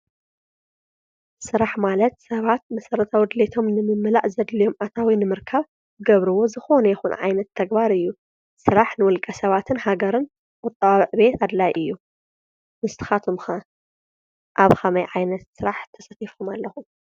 ሥራሕ ማለት ሰባት መሠረታ ድሌየቶም ንምምላእ ዘድልዮም ኣታዊ ንምርካ ገብርዎ ዝኾነ የኹን ዓይነት ተግባር እዩ ።ሥራሕ ንወልቀ ሰባትን ሃገርን ቅጥዓዕ ቤት ኣድላይ እዩ። ንካትኻቶም ኣብ ኸመይ ዓይነት ሥራሕ ተሰቲፉም ኣለኹ?